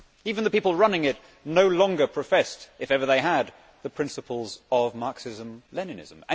Even the people running it no longer professed, if ever they had, the principles of Marxism Leninism.